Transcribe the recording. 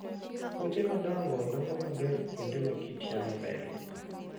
Puothe madongo dongo maber kuonde ma kit yamo berie.